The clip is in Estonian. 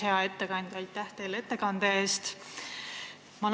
Hea ettekandja, aitäh teile ettekande eest!